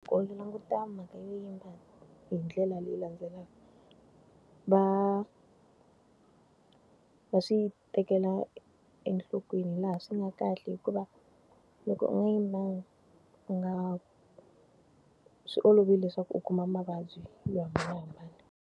languta mhaka yo yimba hi ndlela leyi landzelaka. Va va swi tekela enhlokweni laha swi nga kahle hikuva, loko u nga yi ma nga swi olovile leswaku u kuma mavabyi yo hambanahambana.